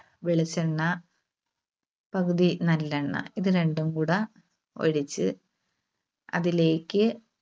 വെളിച്ചെണ്ണ പകുതി നല്ലെണ്ണ ഇത് രണ്ടുംകൂടെ ഒഴിച്ച് അതിലേക്ക്